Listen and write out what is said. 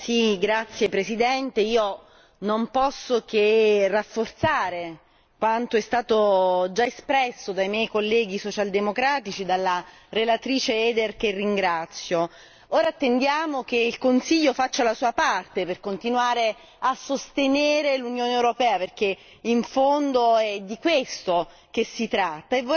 Signor Presidente, onorevoli colleghi, io non posso che rafforzare quanto è stato già espresso dai miei colleghi socialdemocratici, dalla relatrice Eider che ringrazio. Ora attendiamo che il Consiglio faccia la sua parte per continuare a sostenere l'Unione europea, perché in fondo è di questo che si tratta.